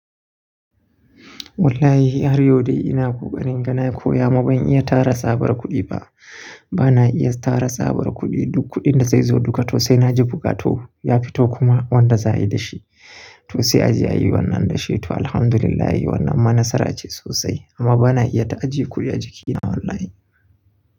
Wallahi har yau dai ina ƙoƙarin inga nankoya amma ban iya tara tsabar kuɗi ba. Bana iya tara tsabar kuɗi, duk kuɗin da zai zo duka to sai naji bukatu ya fito kuma wanda za a yi da shi. To sai a je a yi wannan da shi to Alhamdulillah wannan ma nasara ce sosai. Amma bana iya ta a je kuɗi a jikina wallahi.